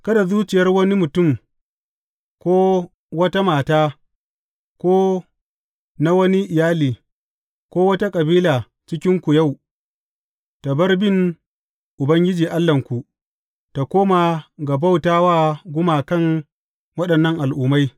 Kada zuciyar wani mutum, ko ta wata mata ko na wani iyali, ko wata kabila cikinku yau, ta bar bin Ubangiji Allahnku, tă koma ga bauta wa gumakan waɗannan al’ummai.